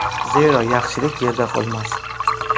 Zero, yaxshilik yerda qolmas.